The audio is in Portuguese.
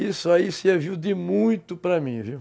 Isso aí serviu de muito para mim, viu?